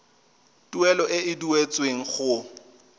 tuelo e e duetsweng go